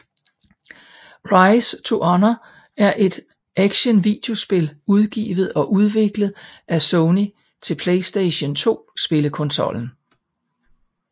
Rise to honour er et action videospil udgivet og udviklet af Sony til PlayStation 2 spillekonsollen